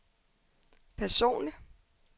personlig